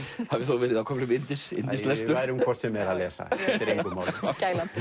hafi á köflum verið yndislestur við værum hvort sem er að lesa skiptir engu máli skælandi